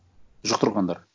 жұқтырғандар